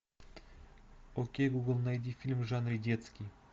окей гугл найди фильм в жанре детский